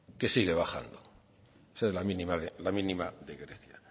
que sigue bajando esa es la mínima de grecia